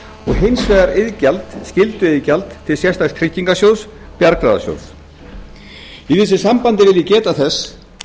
og hins vegar skylduiðgjald til sérstaks tryggingasjóðs bjargráðasjóðs í þessu sambandi vil ég geta þess